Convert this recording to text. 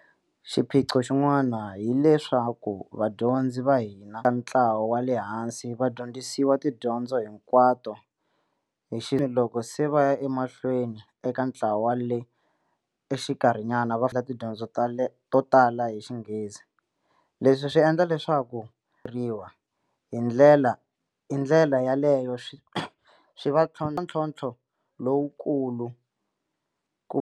Xiphiqo xin'wana hi leswaku vadyondzi va hina ntlawa wa le hansi va dyondzisiwa tidyondzo hinkwato hi loko se va ya emahlweni eka ntlawa le xikarhinyana va endla tidyondzo to tala hi Xinghezi, leswi swi endla leswaku riwa, hi ndlela yaleyo swi va ntlhontlho lowukulu ku.